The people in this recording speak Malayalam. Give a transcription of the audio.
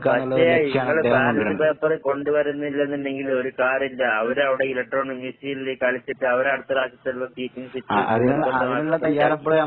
പക്ഷെ ഇങ്ങള് ബാലറ്റ് പേപ്പറ് കൊണ്ട് വരുന്നില്ലെന്നുണ്ടെങ്കിൽ ഒരു കാര്യയില്ല. അവരവടെ എലെക്ട്രോണിക് മെഷീനില് കളിച്ചിട്ട് അവരടുത്ത പ്രാവശ്യം